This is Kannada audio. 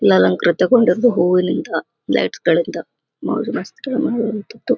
ಅಲಂಕೃತ ಗೊಂಡದ್ದು ಹೂವುಯಿಂದ ಲೈಟ್ಸ್ಗಳಿಂದ